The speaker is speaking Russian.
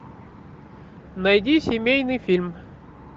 найди семейный фильм